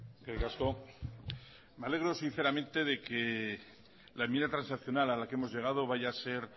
eskerrik asko me alegro sinceramente de que la enmienda transaccional a la que hemos llegado vaya a ser